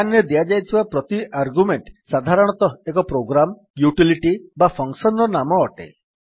man ରେ ଦିଆଯାଇଥିବା ପ୍ରତି ଆର୍ଗ୍ୟୁମେଣ୍ଟ୍ ସାଧାରଣତଃ ଏକ ପ୍ରୋଗ୍ରାମ୍ ୟୁଟିଲିଟି ବା ଫଙ୍କସନ୍ ର ନାମ ଅଟେ